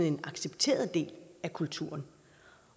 en accepteret del af kulturen